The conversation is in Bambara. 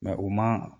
u man